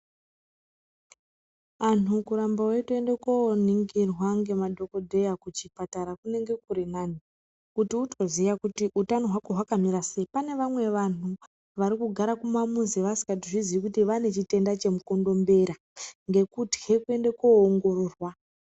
Antu kuramba veitoende koningirwa ngemadhokodheya kuchipatara kunenge kuri nani, kuti utoziya kuti utano hwako hunenge hwakamira sei. Pane vamwe vantu vari kugara mumamuzi vasikatozviziyi kuti vane chitenda chemukondombera, ngekutitye koende koongororwa.